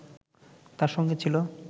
তার সঙ্গে ছিল